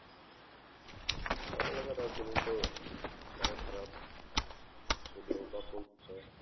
আমার এলাকায় রাজনীতি তো আরও খারাপ। শুধু